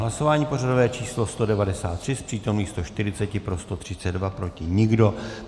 Hlasování pořadové číslo 193, z přítomných 140 pro 132, proti nikdo.